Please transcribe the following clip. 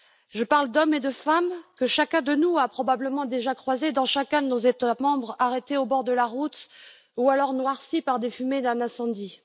Je parle d'hommes et de femmes que chacun de nous a probablement déjà croisés dans chacun de nos États membres, arrêtés au bord de la route ou alors noircis par des fumées d'incendie.